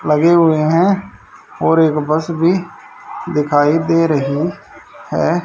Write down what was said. लगे हुए हैं और एक बस भी दिखाई दे रही है।